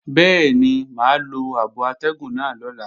Bẹ́ẹ̀ni mà á lo abo atẹ́gùn náà lọ́la